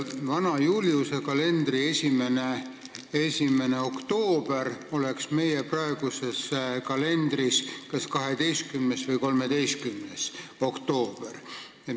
Vana Juliuse kalendri 1. oktoober oleks meie praeguses kalendris kas 12. või 13. oktoober.